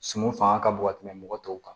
Suman fanga ka bon ka tɛmɛ mɔgɔ tɔw kan